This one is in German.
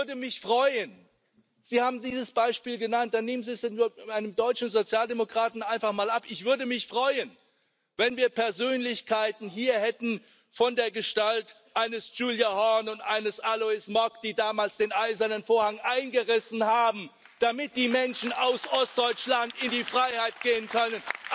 Ja, ich würde mich freuen Sie haben dieses Beispiel genannt, dann nehmen Sie es einem deutschen Sozialdemokraten einfach mal ab ich würde mich freuen, wenn wir Persönlichkeiten hier hätten von der Gestalt eines Gyula Horn und eines Alois Mock, die damals den Eisernen Vorhang eingerissen haben, damit die Menschen aus Ostdeutschland in die Freiheit gehen können.